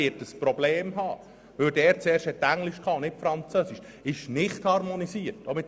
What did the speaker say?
Er wird ein Problem haben, weil er mit Englisch und nicht mit Französisch angefangen hat.